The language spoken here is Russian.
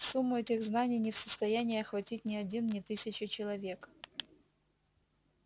сумму этих знаний не в состоянии охватить ни один ни тысяча человек